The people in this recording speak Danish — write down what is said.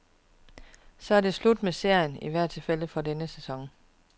Så er det slut med serien, i hvert fald for denne sæson.